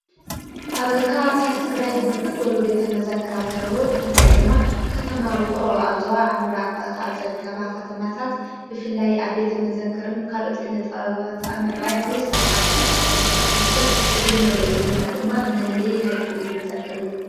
ኣብ ከባብታት ትግራይ ብርክት ዝበሉ ቤተ መዘክራት አለዉ ብፍላይ ድማ ኸተማ ውቕሮ ኣብዝዋ ኣምራቕ ኻብ ዘርከባ ኸተማታት ብፍላይ ኣብ ቤተ መዘክርን ካልኦትኪንጠበባት ኣምዕባይ ዓዊዪ ሥራሕ ኻብ ሠርሕ ኽተማታት ሓንቲ እያ እዝነርዮ ዘለና ድማ መልለይ ናይቲ ቤት መዘክር እዩ::